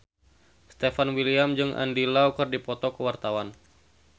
Stefan William jeung Andy Lau keur dipoto ku wartawan